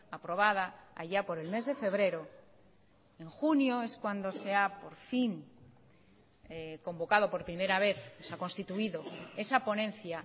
aprobada allá por el mes de febrero en junio es cuando sea por fin convocado porprimera vez se ha constituido esa ponencia